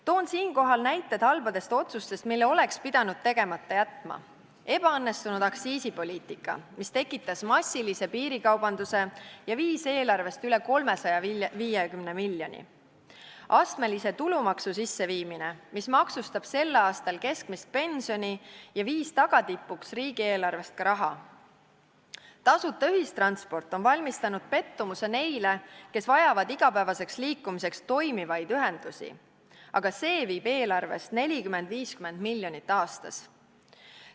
Toon siinkohal näited halbadest otsustest, mille oleks pidanud tegemata jätma: ebaõnnestunud aktsiisipoliitika, mis tekitas massilise piirikaubanduse ja viis eelarvest üle 350 miljoni; astmelise tulumaksu sisseviimine, mis maksustab sel aastal keskmist pensioni ja viis tagatipuks riigieelarvest ka raha; tasuta ühistransport on valmistanud pettumuse neile, kes vajavad igapäevaseks liikumiseks toimivaid ühendusi, aga see viib eelarvest 40–50 miljonit aastas.